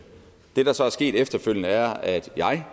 der så er sket efterfølgende er at jeg